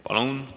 Palun!